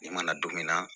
Ne mana don min na